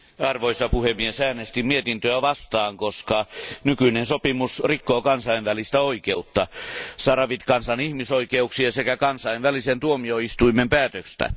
Arvoisa puhemies, äänestin mietintöä vastaan, koska nykyinen sopimus rikkoo kansainvälistä oikeutta, sahrawi kansan ihmisoikeuksia sekä kansainvälisen tuomioistuimen päätöstä.